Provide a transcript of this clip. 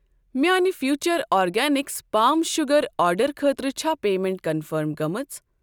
میٛانہ future organics palm sugar آرڈرٕ خٲطرٕ چھا پیمیٚنٹ کنفٔرم گٔمٕژ؟